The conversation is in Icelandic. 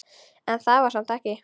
En það var samt ekki.